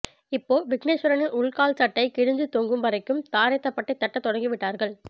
இப்போ விக்னேஸ்வரனின் உள் கால்ச்சட்டை கிழிஞ்சு தொங்கும் வரைக்கும் தாரை தப்பட்டை தட்ட தொடங்கிவிட்டார்கள்